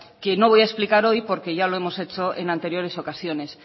que no voy a explicar hoy porque ya lo hemos hecho en anteriores ocasiones